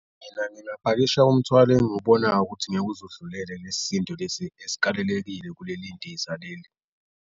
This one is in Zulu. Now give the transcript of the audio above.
Mina ngingaphakisha umthwalo engiwubona ukuthi ngeke uze udlulele kulesi sindo lesi esikalelekile kuleli ndiza leli.